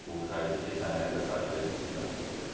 Biz o xərci keçən eləyənə qədər xahiş elədik, silmədilər bizə.